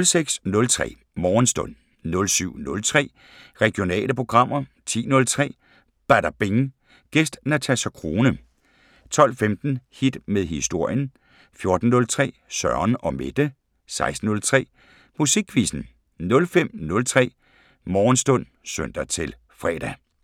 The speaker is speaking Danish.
06:03: Morgenstund 07:03: Regionale programmer 10:03: Badabing: Gæst Natasja Crone 12:15: Hit med historien 14:03: Søren & Mette 16:03: Musikquizzen 05:03: Morgenstund (søn-fre)